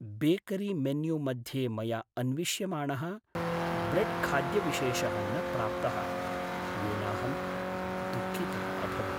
बेकरीमेन्यूमध्ये मया अन्विष्यमाणः ब्रेड्खाद्यविशेषः न प्राप्तः, येनाहं दुःखितः अभवम्।